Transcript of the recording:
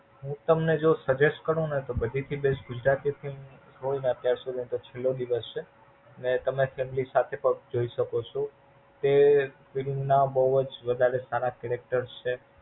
હું તમને જો Suggest કરું ને તો બધે થી બેસ્ટ ગુજરાતી છે. કોઈ ને અત્યાર સુધી છેલો દિવસ છે. ને તમે તેમની સાથે પણ જોઈ શકો છો. તે Film ના બોવ જ વધારે સારા Character છે.